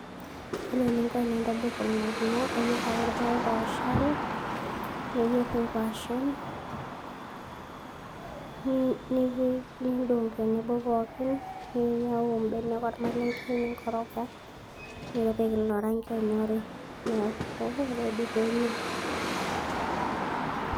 Ore eninko tenintobir ormokimo naa iyier ake irpaek ooshal, niyier inkwashen ,nipik ,nindong' tenebo pookin ,ninyau imbenek ormalenke ,ninkoroga ,nepik ilo rangi onyori neaku ready penyae .